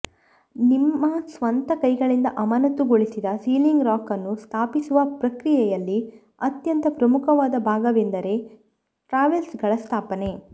ನಿಮ್ಮ ಸ್ವಂತ ಕೈಗಳಿಂದ ಅಮಾನತುಗೊಳಿಸಿದ ಸೀಲಿಂಗ್ ರಾಕ್ ಅನ್ನು ಸ್ಥಾಪಿಸುವ ಪ್ರಕ್ರಿಯೆಯಲ್ಲಿ ಅತ್ಯಂತ ಪ್ರಮುಖವಾದ ಭಾಗವೆಂದರೆ ಟ್ರಾವೆರ್ಸ್ಗಳ ಸ್ಥಾಪನೆ